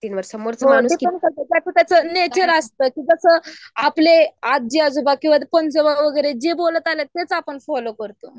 ज्याचं त्याचं नेचर असतं की जसं आपले आज्जी आजोबा वगैरे जे बोलत आलेत तेच आपण फॉलो करतो.